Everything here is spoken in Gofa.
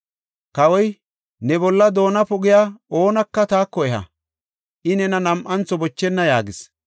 Kawoy, “Ne bolla doona pogiya oonaka taako eha; I nena nam7antho bochenna” yaagis.